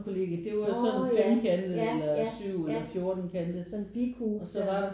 Når ja ja ja ja sådan en bikube der